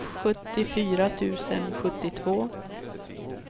sjuttiofyra tusen sjuttiotvå